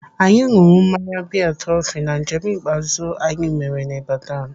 Anyị nụrụ mmanya biya Trọfi na njem ikpeazụ anyị mere n'Ibadan.